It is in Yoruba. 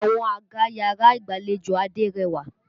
Àwọn àga yàrá ìgbàlejò Adé rẹwà.